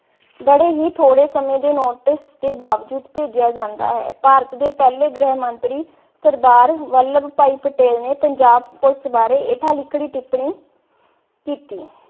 ਬੜੇ ਹੀ ਥੋੜੇ ਸਮੇ ਦੇ notice ਦੇ ਬਾਵਜੂਦ ਭੇਜਿਆ ਜਾਂਦਾ ਹੈ। ਭਾਰਤ ਦੇ ਪਹਿ ਗ੍ਰਹਿ ਮੰਤਰੀ ਸਰਦਾਰ ਵਲਬ ਭਾਈ ਪਟੇਲ ਨੇ ਪੰਜਾਬ police ਬਾਰੇ ਹੇਠਾਂ ਲਿਖਰੀ ਟਿਪਣੀ ਕੀਤੀ।